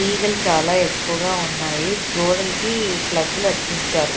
ఈగలు చాలా ఎక్కువగా ఉన్నాయి గోడలకి ప్లగ్గులు అతికించారు.